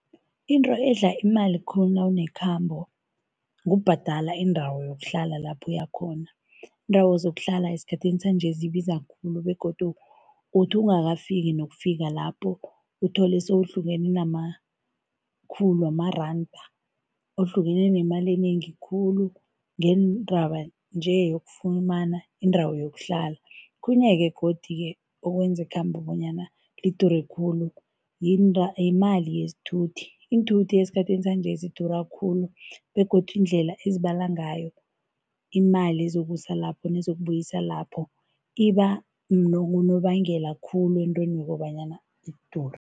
Into edla imali khulu nawunekhambo kubhadala indawo yokuhlala lapho uyakhona. Iindawo zokuhlala esikhathini sanje zibiza khulu begodu uthi ungakafiki nokufika lapho, uthole sewuhlukene namakhulu wamaranda, uhlukane nemali enengi khulu ngeendaba nje yokufumana indawo yokuhlala. Okhunye-ke godi-ke okwenza ikhambo bonyana lidure khulu, yimali yesithuthi. Iinthuthi esikhathini sanje zidura khulu begodu indlela ezibala ngayo, imali ezokusa lapho nezokubuyisana lapho iba ngunobangela khulu entweni yokobanyana zidure.